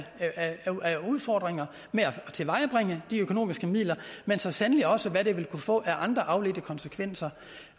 udfordringer med at tilvejebringe de økonomiske midler men så sandelig også hvad det vil kunne få af andre afledte konsekvenser